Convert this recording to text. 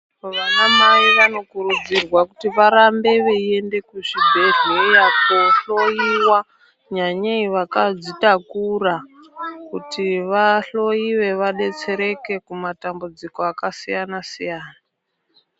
Vana mai vanokurudzirwa kuti varambe veiende kuzvibhedhleya kohloyiwa nyanyei vakadzitakura kuti vahloyiwe vadetsereke kumatambudziko akasiyana -siyana.